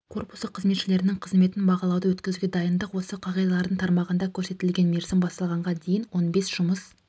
корпусы қызметшілерінің қызметін бағалауды өткізуге дайындық осы қағидалардың тармағында көрсетілген мерзім басталғанға дейін он бес жұмыс